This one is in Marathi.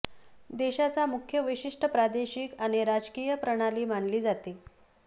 देशाचा मुख्य वैशिष्ठ्य प्रादेशिक आणि राजकीय प्रणाली मानली जाते